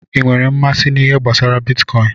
I nwèrè mmasị na ihe gbasara bitkọin?